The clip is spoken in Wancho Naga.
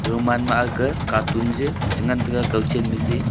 gaman ma agka katun je che ngan tega kau chen ma jee.